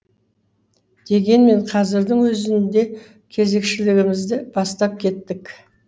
дегенмен қазірдің өзінде кезекшілігімізді бастап кеттік